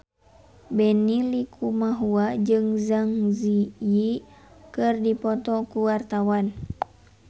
Benny Likumahua jeung Zang Zi Yi keur dipoto ku wartawan